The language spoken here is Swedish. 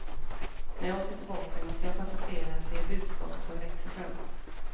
När jag ser tillbaka måste jag konstatera att det är det budskapet som växer fram.